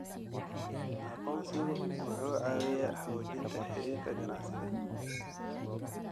Aqoonsigu wuxuu caawiyaa xoojinta xiriirka ganacsiga.